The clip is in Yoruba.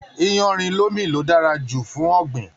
Iyanrin lomi lo dára jù fún ọ̀gbìn.